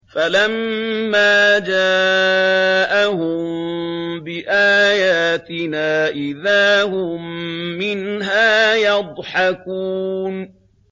فَلَمَّا جَاءَهُم بِآيَاتِنَا إِذَا هُم مِّنْهَا يَضْحَكُونَ